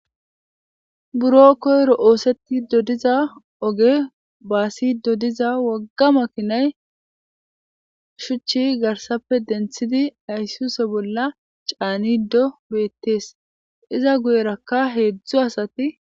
buro koyro oosetidodiza oge baasidodiza wogga makinay shuchchi garsappe denthidi aysuze bolla caanido beettees iza guyerakka heedzdzu asati